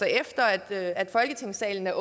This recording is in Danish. efter at folketingssalen er